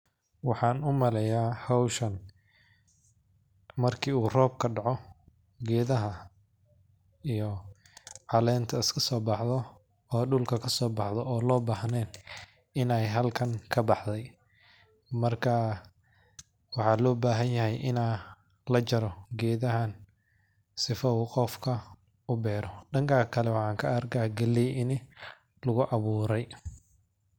Waxan umaleya howshan marki o robka daco gedaha iyo calenta iska sobaxdo oo dulka kasobaxdo on lobahnen inay halkan kabaxdo marka waxa lobahanyahay ina lajaro gedahan sidhu u qoofka ubero dankan kale waxan kaarka galey ina lugu aburay.